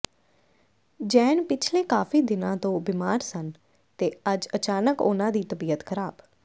ਜੈਨ ਪਿਛਲੇ ਕਾਫੀ ਦਿਨਾਂ ਤੋਂ ਬੀਮਾਰ ਸਨ ਤੇ ਅੱਜ ਅਚਾਨਕ ਉਨ੍ਹਾਂ ਦੀ ਤਬੀਅਤ ਖਰਾਬ